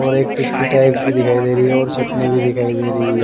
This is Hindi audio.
और एक टिक्की टाइप की दिखाई दे रहीऔर चटनी भी दिखाई दे रही है।